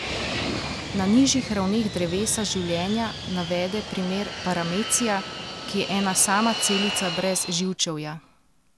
Na nižjih ravneh drevesa življenja navede primer paramecija, ki je ena sama celica brez živčevja.